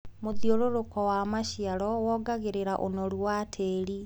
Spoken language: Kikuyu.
Mũthiũrũruko wa maciaro wongagĩrĩra ũnoru wa tĩri.